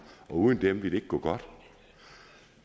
og uden dem ville det ikke gå godt